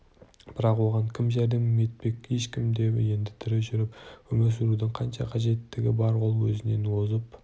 бірақ оған кім жәрдем етпек ешкім де енді тірі жүріп өмір сүрудің қанша қажеттігі бар ол өзінен озып